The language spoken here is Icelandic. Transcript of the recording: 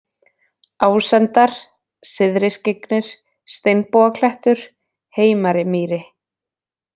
Ásendar, Syðriskyggnir, Steinbogaklettur, Heimari-Mýri